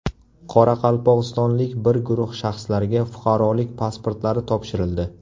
Qoraqalpog‘istonlik bir guruh shaxslarga fuqarolik pasportlari topshirildi.